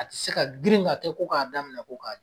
A ti se ka girin ka kɛ ko k'a daminɛ ko k'a j